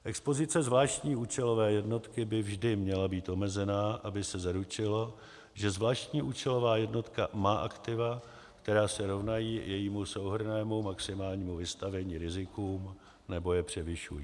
Expozice zvláštní účelové jednotky by vždy měla být omezená, aby se zaručilo, že zvláštní účelová jednotka má aktiva, která se rovnají jejímu souhrnnému maximálnímu vystavení rizikům nebo je převyšují.